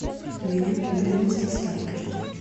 у меня проблемы с доставкой